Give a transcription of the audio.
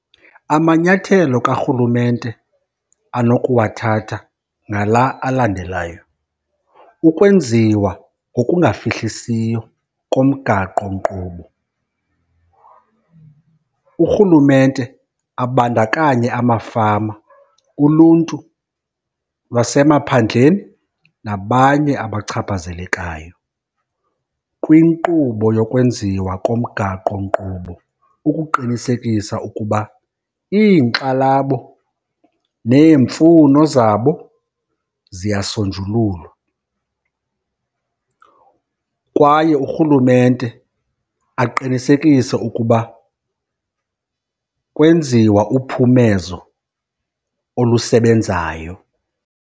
Amanyathelo karhulumente anokuwathatha ngala alandelayo, ukwenziwa ngokungafihlisiyo komgaqonkqubo. Urhulumente abandakanye amafama, uluntu lwasemaphandleni nabanye abachaphazelekayo kwinkqubo yokwenziwa komgaqonkqubo ukuqinisekisa ukuba iinkxalabo neemfuno zabo ziyasonjululwa. Kwaye urhulumente aqinisekise ukuba kwenziwa uphumezo olusebenzayo.